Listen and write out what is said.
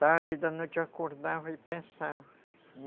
Tarde da noite eu acordava e pensava.